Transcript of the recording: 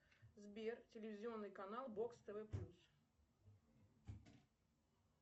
сбер телевизионный канал бокс тв плюс